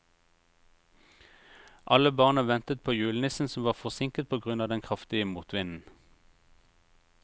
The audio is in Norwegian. Alle barna ventet på julenissen, som var forsinket på grunn av den kraftige motvinden.